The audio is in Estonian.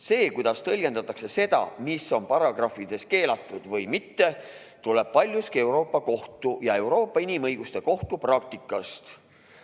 See, kuidas tõlgendatakse seda, mis on paragrahvides keelatud või mitte, tuleb paljuski Euroopa Kohtu ja Euroopa Inimõiguste Kohtu praktikast.